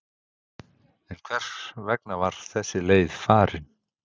En hvers vegna var þessi leið farin?